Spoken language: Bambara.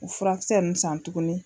O furakisɛ nuw san tuguni